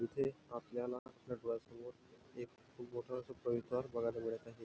इथे आपल्याला आपल्या डोळ्यासमोर एक खूप मोठं अस परिसर बघायला मिळत आहे.